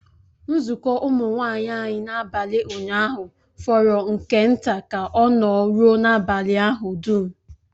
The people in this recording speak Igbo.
Nzukọ Ụmụ nwanyị anyị n'abalị ụnyaahụ fọrọ nke nta ka ọ nọ rụọ n'abalị ahụ dum